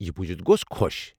یہِ بوزتھ گوٚس خوش۔